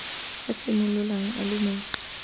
a simololang a le mo